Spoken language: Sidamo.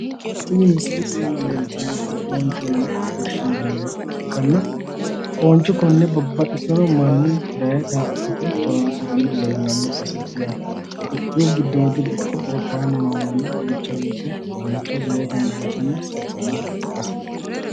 Tini misilete iima leeltannoti foonchoho yine woshshinanniha ikkanna fooncho konne babbaxxitino manni daye daa"atate horoonsiranni leellanno baseeti yaate. Itiyophiyu giddodiri ikko gobbaanni noo manni duucha woyite daye gangalatanni sayisanno baseeti.